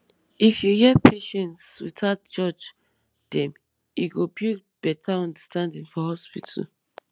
if you hear patients without judge dem e go build better understanding for hospital